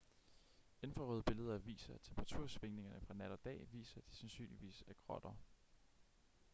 infrarøde billeder viser at temperatursvingningerne fra nat og dag viser at de sandsynligvis er grotter